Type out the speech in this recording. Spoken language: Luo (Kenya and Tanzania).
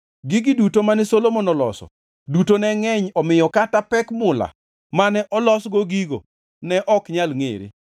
Gigi duto mane Solomon oloso duto ne ngʼeny omiyo kata pek mula mane olosgo gigo ne ok nyal ngʼere.